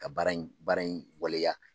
Ka baara in baara in waleya